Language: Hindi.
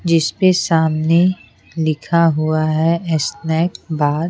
जिसपे सामने लिखा हुआ है स्नैक बार ।